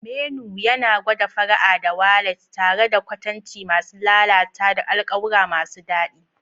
Menu yana gwada fara'a da walat tare da kwatanci masu lalata da alƙawura masu daɗi.